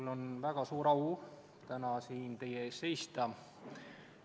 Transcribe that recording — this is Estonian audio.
Mul on väga suur au täna siin teie ees seista.